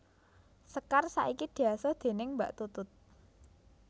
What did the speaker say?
Sekar saiki diasuh déning Mbak Tutut